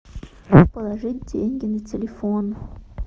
положить деньги на телефон